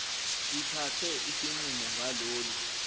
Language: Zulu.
ithathe isinqumo ngalolu